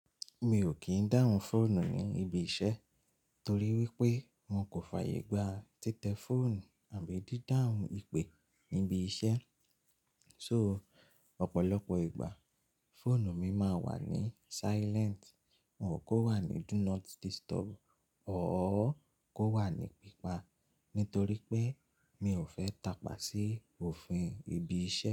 Mi ò kí ń dáhùn fóònù ní ibi iṣẹ́ torí wípé wọn kò fàyè gba títẹ fóònù àbí dídáhùn ìpè níbi iṣẹ́. So ọ̀pọ̀lọpọ̀ ìgbà fóònù mi máa ń wà ní silent, wọn ò kó wà ní do not disturb or kó wà ní pípa nítorí pé mi ò fẹ́ tapà sí òfin ibi iṣẹ́.